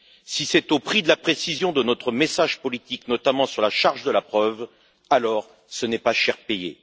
Si c'est au prix de la précision de notre message politique, notamment sur la charge de la preuve, alors ce n'est pas cher payé.